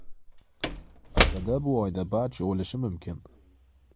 Aslida bu oyda barcha o‘lishi mumkin.